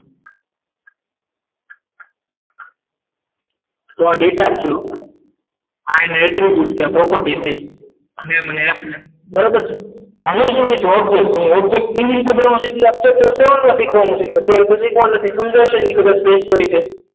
નો data છે આ એટલે કેવી રીતે property થઈ અને મને બરોબર છે આને શું કહે છે object object કેવી રીતે બનાવવાનું છે તો શીખવાનું છે એ તો શીખવાનું નથી કદાચ